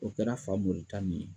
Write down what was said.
O kɛra Fmori ta ni ye.